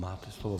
Máte slovo.